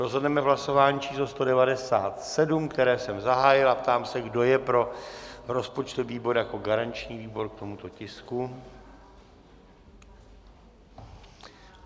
Rozhodneme v hlasování číslo 197, které jsem zahájil, a ptám se, kdo je pro rozpočtový výbor jako garanční výbor k tomuto tisku?